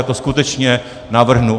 Já to skutečně navrhnu.